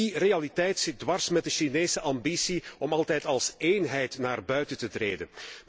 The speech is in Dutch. En die realiteit zit dwars met de Chinese ambitie om altijd als eenheid naar buiten te treden.